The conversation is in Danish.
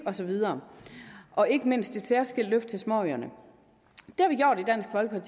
og så videre og ikke mindst ved et særskilt løft af småøerne